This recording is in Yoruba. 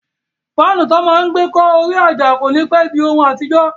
Fáànù tó máa n gbé kọ́ orí àjà kò ní pẹ́ di ohun àtijọ́